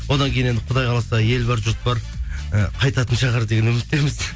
одан кейін енді құдай қаласа ел бар жұрт бар ы қайтатын шығар деген үміттеміз